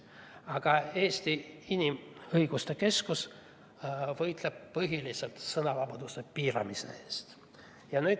Aga Eesti Inimõiguste Keskus võitleb põhiliselt sõnavabaduse piiramise eest.